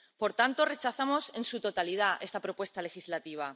Por tanto, rechazamos en su totalidad esta propuesta legislativa.